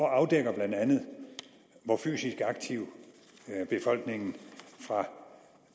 afdækker bla hvor fysisk aktiv befolkningen fra